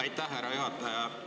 Aitäh, härra juhataja!